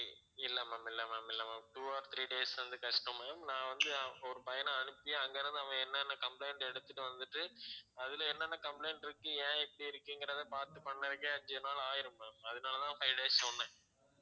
இல்ல ma'am இல்ல ma'am இல்ல ma'am two or three days வந்து கஷ்டம் ma'am நான் வந்து ஹம் ஒரு பையனை அனுப்பி அங்கிருந்து அவன் என்னென்ன complaint எடுத்துட்டு வந்துட்டு அதுல என்னென்ன complaint இருக்கு ஏன் இப்படி இருக்குங்கிறத பார்த்து பண்றதுக்கே அஞ்சி நாள் ஆயிடும் ma'am அதனால தான் five days சொன்னேன்